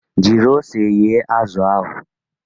Jiri ose yee azụ ahụ!